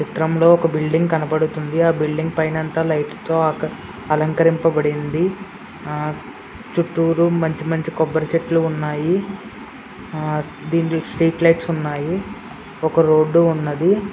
చిత్రంలో ఒక బిల్డింగ్ కనబడుతుంది. ఆ బిల్డింగ్ పైనంతా లైట్ స్ తో ఆ అలంకరింపబడి ఉంది. ఆ చుట్టూరు మంచి మంచి కొబ్బరి చెట్లు ఉన్నాయి. దీని స్ట్రీట్ లైట్ స్ ఉన్నాయి. ఒక రోడ్ డు ఉన్నది.